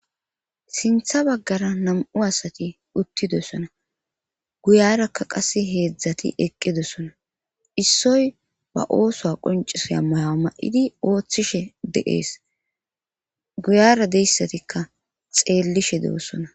sintha baggara nam7u asati uttidessona guyarakka qase heedzdzati eqqedesona issoy ba ooso qoncisoya mayo ma7idi ooththishe deees guyara deyssatikka xeellishe de7osona